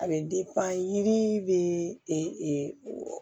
A bɛ yiri bɛ